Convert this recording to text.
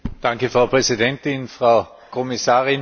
Frau Präsidentin, Frau Kommissarin!